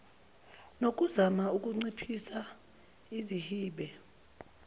nokuzama ukunciphisa izihibe